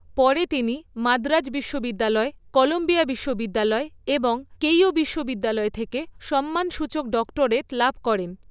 পরে তিনি মাদ্রাজ বিশ্ববিদ্যালয়, কলাম্বিয়া বিশ্ববিদ্যালয় এবং কেইও বিশ্ববিদ্যালয় থেকে সম্মানসূচক ডক্টরেট লাভ করেন।